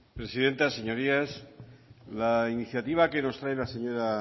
presidenta señorías la iniciativa que nos trae la señora